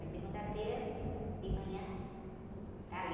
Mas segunda-feira de manhã está ali.